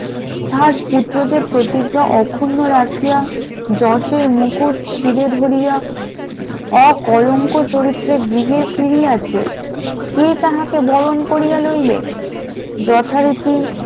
তার পুত্রদের প্রতিজ্ঞা অখুন্ন রাখিয়া জোসের মুকুট শ্রীরে ধরিয়া অকলঙ্ক চরিত্রে গৃহে ফিরিয়েছে কে তাহাকে বরণ করিয়া লইবে । যথারীতি